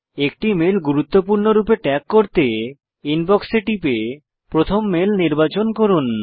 একটি মেল গুরুত্বপূর্ণ রূপে ট্যাগ করতে ইনবক্স এ টিপুন প্রথম মেল নির্বাচন করুন